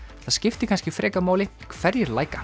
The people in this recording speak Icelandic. það skiptir kannski frekar máli hverjir